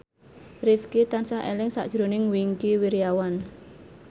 Rifqi tansah eling sakjroning Wingky Wiryawan